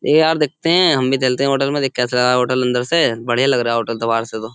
ए यार देखते हैं। हम भी चलते हैं होटल में। देख कैसा होटल अन्दर से। बढियां लग रहा है होटल बाहर से तो।